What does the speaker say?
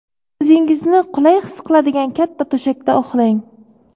O‘zingizni qulay his qiladigan katta to‘shakda uxlang.